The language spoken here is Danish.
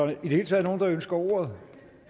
det hele taget nogen der ønsker ordet